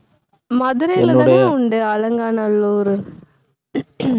மதுரையில தான உண்டு, அலங்காநல்லூரு